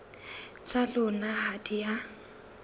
tsa lona ha di a